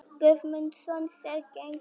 Guðmundsson sér gegn því.